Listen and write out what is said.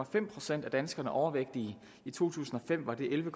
fem procent af danskerne overvægtige i to tusind og fem var det elleve